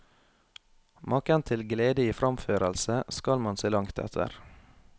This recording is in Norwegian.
Maken til glede i fremførelse skal man se langt etter.